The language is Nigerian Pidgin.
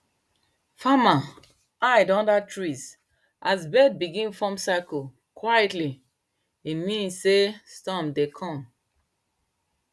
farmer hide under trees as bird begin form circle quietly e mean sey storm dey come